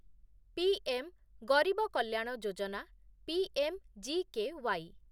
PM Garib Kalyan Yojana PMGKY